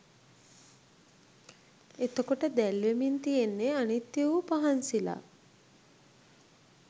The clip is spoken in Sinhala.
එතකොට දැල්වෙමින් තියෙන්නේ අනිත්‍ය වූ පහන් සිලක්